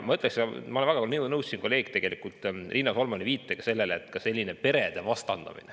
Ma olen väga nõus sellega, millele kolleeg Riina Solman siin viitas, et on ka sellist perede vastandamist.